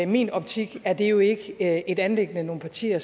min optik er det jo ikke et anliggende nogle partier